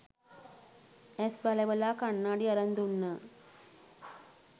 ඇස් බලවලා කණ්ණාඩි අරන් දුන්නා